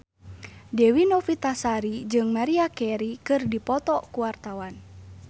Dewi Novitasari jeung Maria Carey keur dipoto ku wartawan